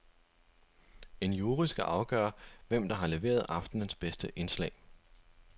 En jury skal afgøre, hvem der har leveret aftenens bedste indslag.